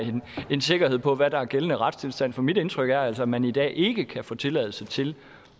sikkerhed for hvad der er gældende retstilstand mit indtryk er altså at man i dag ikke kan få tilladelse til